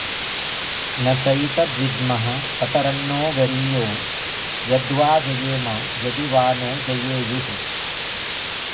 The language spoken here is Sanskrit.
न चैतद्विद्मः कतरन्नो गरीयो यद्वा जयेम यदि वा नो जयेयुः